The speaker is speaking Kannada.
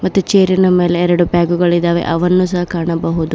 ಮತ್ತು ಚೆರಿ ನ ಮೇಲೆ ಎರಡು ಬ್ಯಾಗು ಗಳಿದಾವೆ ಅವನ್ನು ಸಹ ಕಾಣಬಹುದು.